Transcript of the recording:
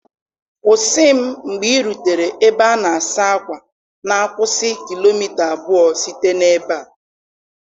Kwụsị m mgbe ị rutere ebe a na-asa ákwà na-akwụsị kilomita abụọ site na ebe a!